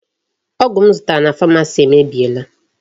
Ọgụ m zụtara na Pharmacy emebiela.